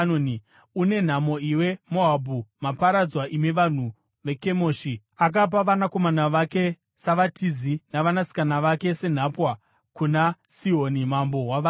Une nhamo, iwe Moabhu! Maparadzwa, imi vanhu veKemoshi! Akapa vanakomana vake savatizi navanasikana vake senhapwa kuna Sihoni mambo wavaAmori.